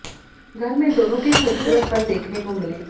घर में दोनों के खूबसूरत पल देखने को मिले